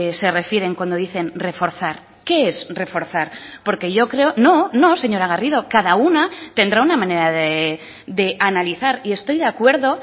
se refieren cuando dicen reforzar qué es reforzar porque yo creo no no señora garrido cada una tendrá una manera de analizar y estoy de acuerdo